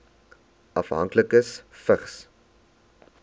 afhanklikes vigs